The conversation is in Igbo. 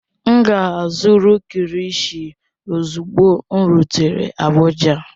M ga-azụrụ kilishi ozugbo m rutere Abuja